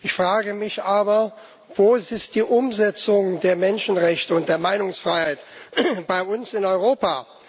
Ich frage mich aber Wo ist die Umsetzung der Menschenrechte und der Meinungsfreiheit bei uns in Europa?